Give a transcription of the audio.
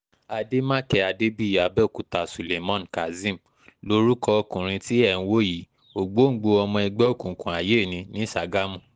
àdèmàkè adébíyí abẹ́òkúta suleman kazeem lorúkọ ọkùnrin tí ẹ̀ ń wò yìíògbóǹgbòó ọmọ ẹgbẹ́ òkùnkùn ayé ní ní sàgámù